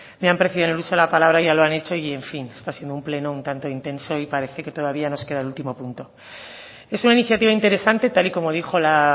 me han precedido en el uso de la palabra ya lo han hecho y en fin está siendo un pleno un tanto intenso y parece que todavía nos queda el último punto es una iniciativa interesante tal y como dijo la